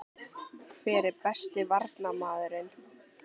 Hver er besti Varnarmaðurinn?